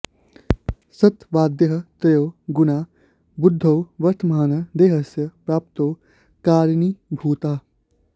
सत्त्वादयः त्रयो गुणाः बुद्धौ वर्तमानाः देहस्य प्राप्तौ कारणीभूताः